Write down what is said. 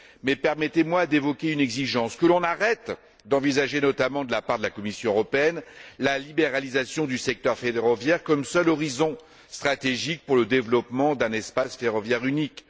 Mais permettez moi d'évoquer une exigence que l'on arrête d'envisager, notamment de la part de la Commission européenne, la libéralisation du secteur ferroviaire comme seul horizon stratégique pour le développement d'un espace ferroviaire unique